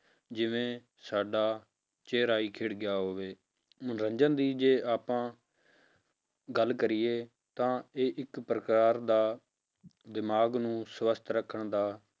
ਜਿਵੇਂ ਸਾਡਾ ਚਿਹਰਾ ਹੀ ਖਿੜ ਗਿਆ ਹੋਵੇ, ਮਨੋਰੰਜਨ ਦੀ ਜੇ ਆਪਾਂ ਗੱਲ ਕਰੀਏ ਤਾਂ ਇਹ ਇੱਕ ਪ੍ਰਕਾਰ ਦਾ ਦਿਮਾਗ ਨੂੰ ਸਵਸਥ ਰੱਖਣ ਦਾ